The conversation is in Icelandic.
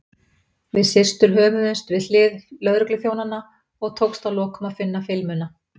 Við systur hömuðumst við hlið lögregluþjónanna og tókst að lokum að finna filmuna.